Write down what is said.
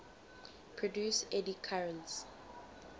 produce eddy currents